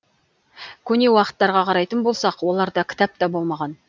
көне уақыттарға қарайтын болсақ оларда кітап та болмаған